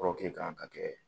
kan ka kɛ